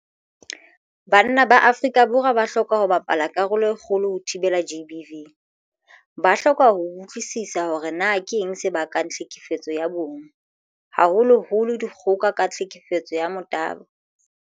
Banna ba Afrika Borwa ba hloka ho bapala karolo e kgolo ho thibeleng GBV. Ba hloka ho utlwisisa hore na keng se bakang tlhekefetso ya bong, haholoholo dikgoka ka tlhekefetso ya motabo.